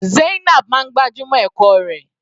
Zainab máa ń gbájúmọ́ ẹ̀kọ́ rẹ̀.